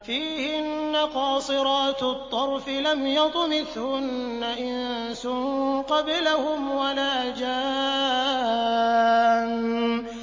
فِيهِنَّ قَاصِرَاتُ الطَّرْفِ لَمْ يَطْمِثْهُنَّ إِنسٌ قَبْلَهُمْ وَلَا جَانٌّ